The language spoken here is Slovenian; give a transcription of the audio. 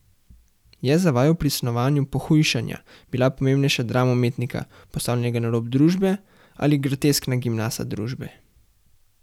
Je za vaju pri snovanju Pohujšanja bila pomembnejša drama umetnika, postavljenega na rob družbe, ali groteskna grimasa družbe?